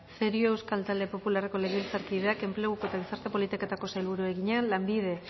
cerio euskal talde popularreko legebiltzarkideak enpleguko eta gizarte politiketako sailburuari egina lanbide